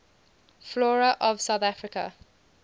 flora of south africa